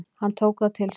Hann tók það til sín: